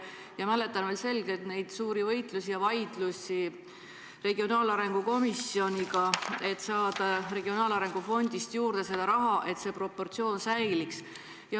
Ma mäletan veel selgelt neid suuri võitlusi ja vaidlusi regionaalarengu komisjoniga, et saada regionaalarengu fondist raha juurde, et see proportsioon säiliks.